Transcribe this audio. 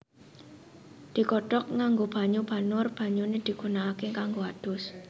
Digodhog nganggo banyu banur banyune digunakake kanggo adus